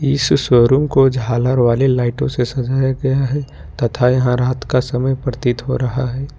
इस शोरूम को झालर वाली लाइटों से सजाया गया है तथा यहां रात का समय प्रतीत हो रहा है।